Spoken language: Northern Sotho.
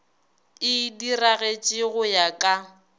e diragatše go ya ka